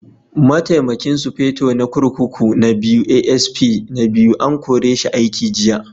Mataimakin Sufeto na kurkuku na Biyu (ASP II) an kore shi aiki jiya.